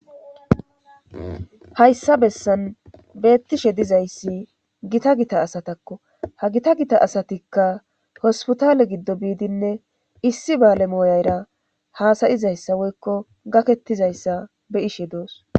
Hayssa bessan beettishe dizayssi gita gita asatakko ha gita gita asatikka hospitale giddo biidinne issi baale mooyayra haasayizayssa woykko gakettizayssa be ishe doos